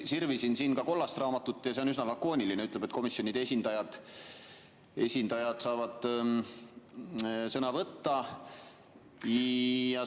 Sirvisin siin ka kollast raamatut, see on üsna lakooniline, ütleb, et komisjonide esindajad saavad sõna võtta.